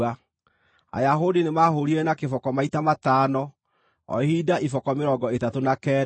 Ayahudi nĩmahũũrire na kĩboko maita matano, o ihinda iboko mĩrongo ĩtatũ na kenda.